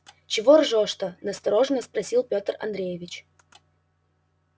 чего ржёшь-то настороженно спросил пётр андреевич